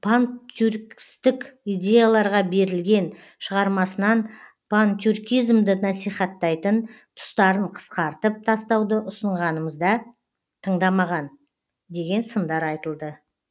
пантюркистік идеяларға берілген шығармасынан пантюркизмді насихаттайтын тұстарын қысқартып тастауды ұсынғанымызда тыңдамаған деген сындар айтылды